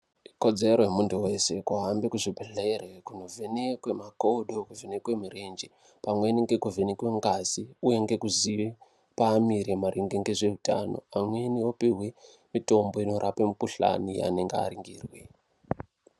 Ikodzero yemuntu wese kuhambe muzvibhedhlere kunovhenekwe makodo nekuvhenekwe mirenje, pamweni ngekuvhenekwe ngazi uye ngekuziye paamire maringe ngezveutano, pamweni opihwe mitombo inorape mikhuhlani ,anenge aringirwe.